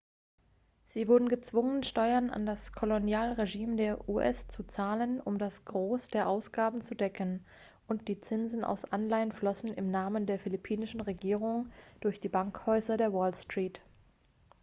sie wurden gezwungen steuern an das kolonialregime der u.s. zu zahlen um das gros der ausgaben zu decken und die zinsen aus anleihen flossen im namen der philippinischen regierung durch die bankhäuser der wall street